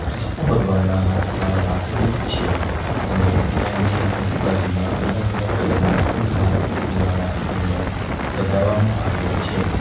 ક્રિષ્ન ભગવાનના હાથમાં વાંસળી છે અને એમને આજુબાજુમાં અલગ અલગ કલર ના ફૂલહાર દ્વારા એમને સજાવામાં આવેલ છે.